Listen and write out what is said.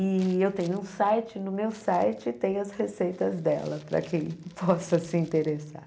E eu tenho um site, no meu site tem as receitas dela, para quem possa se interessar.